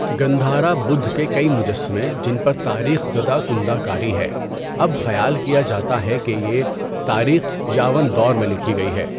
گندھارا بدھ کے کئی مجسمے جن پر تاریخ زدہ کندہ کاری ہے، اب خیال کیا جاتا ہے کہ یہ تاریخ یاون دور میں لکھی گئی ہے۔